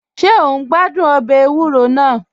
Ṣe o n gbàdún ọbẹ èwùrò náà?